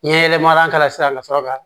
N ye yɛlɛma k'a la sisan ka sɔrɔ ka